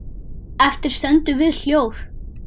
Eftir stöndum við hljóð.